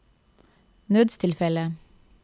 nødstilfelle